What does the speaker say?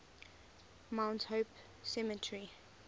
mount hope cemetery